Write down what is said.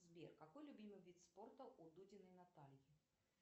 сбер какой любимый вид спорта у дудиной натальи